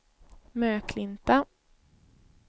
Möklinta